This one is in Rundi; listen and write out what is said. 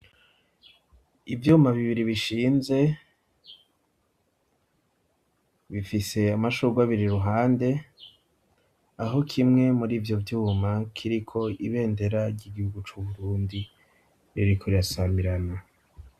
Ivyuma bibiri bishinze, bifise amashurwe abiri iruhande, aho kimwe muri ivyo vyuma kiriko ibendera ry'igihugu c'u Burundi ririko rirasamirana.